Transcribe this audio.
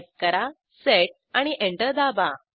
type करा set आणि enter दाबा